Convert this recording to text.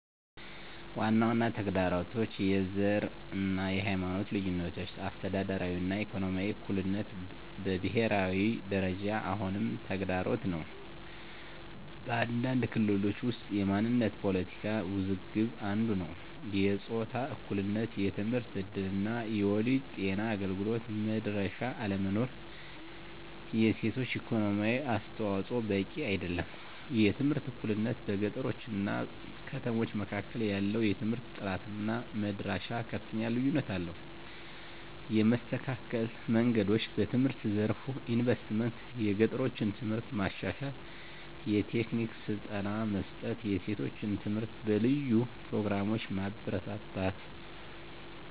ዋና ዋና ተግዳሮቶች፦ # የዘር እና የሃይማኖት ልዩነቶች - አስተዳደራዊ እና ኢኮኖሚያዊ እኩልነት በብሄራዊ ደረጃ አሁንም ተግዳሮት ነው። በአንዳንድ ክልሎች ውስጥ የማንነት ፖለቲካ ውዝግብ አንዱ ነዉ። #የጾታ እኩልነት የትምህርት እድል እና የወሊድ ጤና አገልግሎት መድረሻ አለመኖር። የሴቶች የኢኮኖሚ አስተዋፅዖ በቂ አይደለም። #የትምህርት እኩልነት - በገጠሮች እና ከተሞች መካከል ያለው የትምህርት ጥራት እና መድረሻ ከፍተኛ ልዩነት አለው። የመስተካከል መንገዶች፦ #በትምህርት ዘርፍ ኢንቨስትመንት - የገጠሮችን ትምህርት ማሻሻል፣ የቴክኒክ ስልጠና መስጠት፣ የሴቶች ትምህርት በልዩ ፕሮግራሞች ማበረታታት።